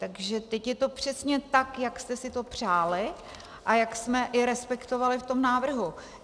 Takže teď je to přesně tak, jak jste si to přáli a jak jsme i respektovali v tom návrhu.